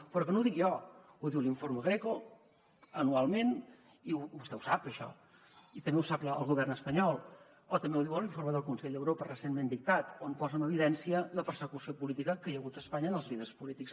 però que no ho dic jo ho diu l’informe greco anualment i vostè ho sap això i també ho sap el govern espanyol o també ho diu l’informe del consell d’europa recentment dictat on posa en evidència la persecució política que hi ha hagut a espanya amb els líders polítics